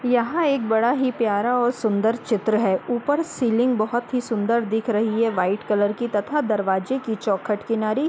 यहाँ एक बड़ा ही प्यारा और सुंदर चित्र है। ऊपर सीलिंग बहुत सुंदर दिख रही है व्हाइट कलर की तथा दरवाजे की चौखट की किनारी --